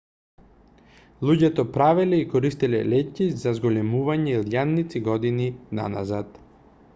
луѓето правеле и користеле леќи за зголемување илјадници години наназад